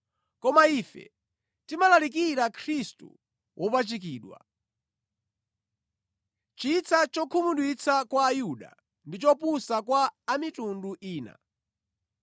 koma ife timalalikira Khristu wopachikidwa. Chitsa chokhumudwitsa kwa Ayuda ndi chopusa kwa a mitundu ina.